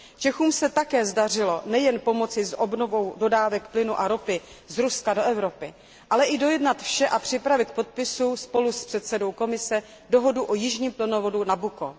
Čechům se také zdařilo nejen pomoci s obnovou dodávek plynu a ropy z Ruska do Evropy, ale i dojednat a připravit k podpisu spolu s předsedou Komise dohodu o jižním plynovodu Nabucco.